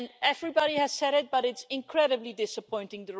Everybody has said it, but it's incredibly disappointing.